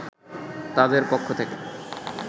তাদের পক্ষ থেকে